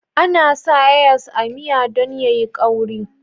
Ana sa hears a miya don ya yi ƙawri